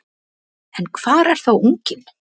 En hvar er þá unginn?